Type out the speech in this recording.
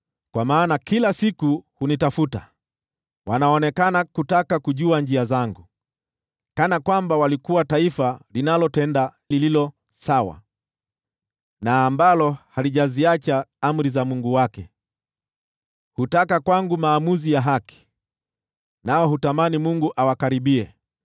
Kwa maana kila siku hunitafuta, wanaonekana kutaka kujua njia zangu, kana kwamba walikuwa taifa linalotenda lililo sawa, na ambalo halijaziacha amri za Mungu wake. Hutaka kwangu maamuzi ya haki, nao hutamani Mungu awakaribie.